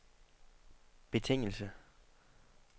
betingelse